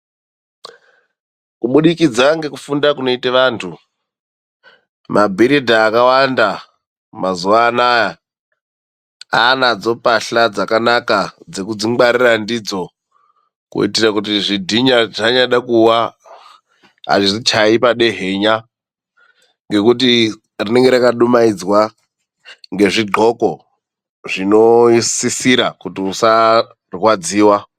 Kubudikidza ngekufunda kunoita vanthu, mabhiridha akawanda mazuwa anaa, aanadzo mbahla dzakanaka dzekudzingwarira ndidzo. Kuitira kuti zvidhina zvanyade kuwa azvichayi padehenya. Ngekuti rinenge rakadumaidzwa ngezvi dhloko zvinosisira kuti usarwadziwa.